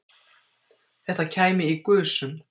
Þetta kæmi í gusum